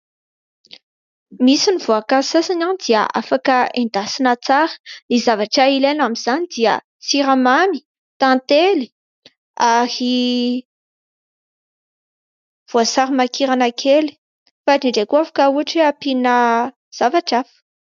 Misy ny voakazo sasany dia afaka endasina tsara, ny zavatra ilaina amin'izany dia siramamy, tantely ary voasary makirana kely fa indrindra koa afaka ohatra hoe ampiana zavatra hafa.